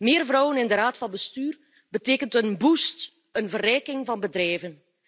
Meer vrouwen in de raad van bestuur betekent een boost, een verrijking van bedrijven.